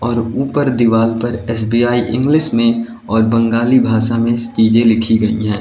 और ऊपर दीवाल पर एस_बी_आई इंग्लिश में और बंगाली भाषा में चीजे लिखी गई है।